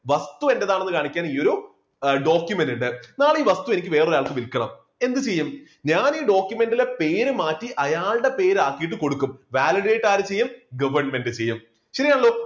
വസ്തു എന്റേതാണ് കാണിക്കാൻ ഈ ഒരു document ഉണ്ട് നാളെ ഈ വസ്തു എനിക്ക് വേറൊരാൾക്ക് വിൽക്കണം എന്ത് ചെയ്യും? ഞാൻ ഈ document ലെ പേര് മാറ്റി അയാളുടെ പേരാക്കിയിട്ട് കൊടുക്കും. validate ആരു ചെയ്യും? government ചെയ്യും ശരി ആണല്ലോ.